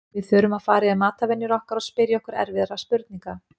Við þurfum fara yfir matarvenjur okkar og spyrja okkur erfiðra spurninga.